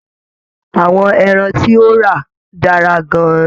Àwọn ẹran tí o rà dára gán-an ní.